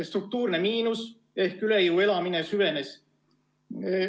Struktuurne miinus ehk üle jõu elamine süvenes.